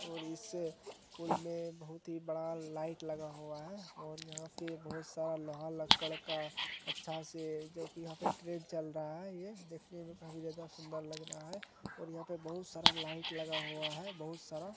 और इस पूल मे बहुत ही बड़ा लाइट लगा हुआ है और यहा पे बहुत सारा लोहा लक्कड़ का अच्छा से जो कि यहाँ पे ट्रेन चल रहा ये देखने मे काफी ज्यादा सुंदर लग रहा है और यहा पर बहुत सारा लाइट लगा हुआ है। बहुत सारा--